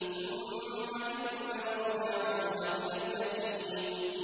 ثُمَّ إِنَّ مَرْجِعَهُمْ لَإِلَى الْجَحِيمِ